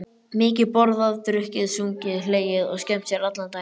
Mikið borðað, drukkið, sungið, hlegið og skemmt sér allan daginn.